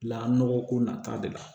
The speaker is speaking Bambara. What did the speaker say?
La nɔgɔ ko nata de la